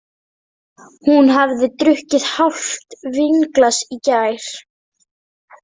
Hún hafði drukkið hálft vínglas í gær.